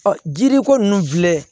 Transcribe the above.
Ɔ jiri ko nun filɛ